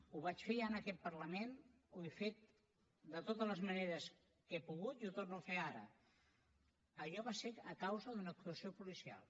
ho vaig fer ja en aquest parlament ho he fet de totes les maneres que he pogut i ho torno a fer ara allò va ser a causa d’una actuació policial